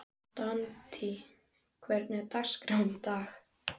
Dante, hvernig er dagskráin í dag?